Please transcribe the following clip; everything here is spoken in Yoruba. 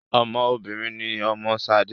Ọmọ obìnrin ni ọmọ Ṣadé